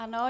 Ano.